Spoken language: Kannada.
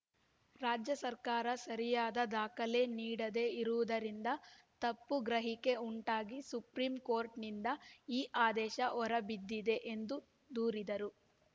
ರಾಜ್ಯ ಸರ್ಕಾರ ಸರಿಯಾದ ದಾಖಲೆ ನೀಡದೆ ಇರುವುದರಿಂದ ತಪ್ಪು ಗ್ರಹಿಕೆ ಉಂಟಾಗಿ ಸುಪ್ರೀಂಕೋರ್ಟ್‌ನಿಂದ ಈ ಆದೇಶ ಹೊರಬಿದ್ದಿದೆ ಎಂದು ದೂರಿದರು